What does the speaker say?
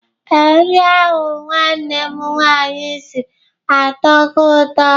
Ee, nri ahụ nwanne m nwaanyi siri atọhọ ụtọ.